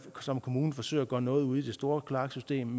som kommune forsøger at gøre noget ude i det store kloaksystem